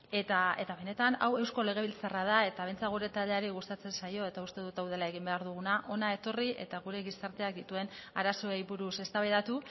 eta benetan hau eusko legebiltzarra da eta behintzat gure taldeari gustatzen zaio eta uste dut hau dela egin behar duguna hona etorri eta gure gizarteak dituen arazoei buruz eztabaidatu